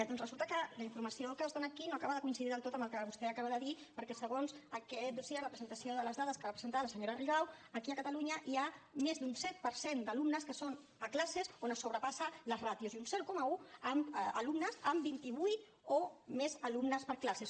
doncs resulta que la informació que es dóna aquí no acaba de coincidir del tot amb el que vostè acaba de dir perquè segons aquest dossier la presentació de les dades que va presentar la senyora rigau aquí a catalunya hi ha més d’un set per cent d’alumnes que són a classes on es sobrepassen les ràtios i un zero coma un amb vint i vuit o més alumnes per classe